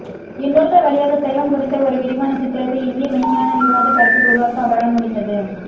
இந்நூல்கள் வழியாக சைவம் குறித்த ஒரு விரிவான சித்திரத்தை இந்திய மெய்ஞானவிவாதப்பரப்பில் உருவாக்க அவரால் முடிந்தது